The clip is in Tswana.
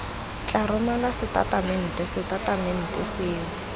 tla romelwa setatamente setatamente seo